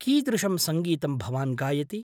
कीदृशं सङ्गीतं भवान् गायति?